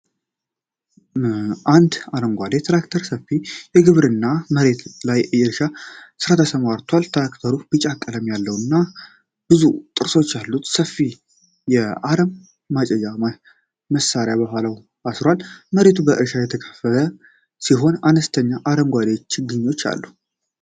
አንድ አረንጓዴ ትራክተር ሰፊ የግብርና መሬት ላይ በእርሻ ሥራ ተሰማርቷል። ትራክተሩ ቢጫ ቀለም ያለውና ብዙ ጥርሶች ያሉት ሰፊ የአረም ማጨጃ መሳሪያ ከኋላው አስሯል። መሬቱ በእርሻ የተከፈለ ሲሆን አነስተኛ አረንጓዴ ችግኞች አሉ።